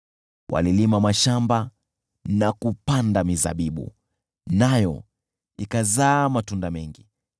Walilima mashamba na kupanda mizabibu, nayo ikazaa matunda mengi,